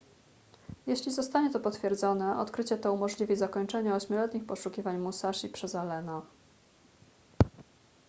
jeśli zostanie to potwierdzone odkrycie to umożliwi zakończenie ośmioletnich poszukiwań musashi przez allena